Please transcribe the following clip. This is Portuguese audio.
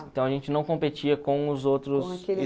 Então, a gente não competia com os outros